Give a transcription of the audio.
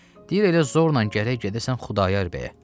Deyir elə zorla gərək gedəsən Xudayar bəyə.